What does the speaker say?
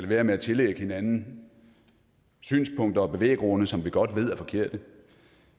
være med at tillægge hinanden synspunkter og bevæggrunde som vi godt ved er forkerte